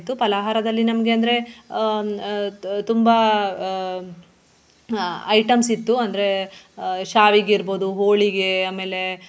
ಪಲಾಹಾರದಲ್ಲಿ ನಮ್ಗೆ ಅಂದ್ರೆ ಹ್ಮ್ ಆಹ್ ತು~ ತುಂಬಾ ಆಹ್ ಆಹ್ ಹಾ items ಇತ್ತು ಅಂದ್ರೆ ಆಹ್ ಶಾವಿಗೆ ಇರ್ಬಹುದು, ಹೋಳಿಗೆ ಆಮೇಲೆ.